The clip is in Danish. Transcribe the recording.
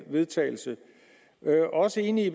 vedtagelse jeg er også enig i